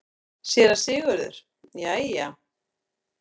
SÉRA SIGURÐUR: Jæja!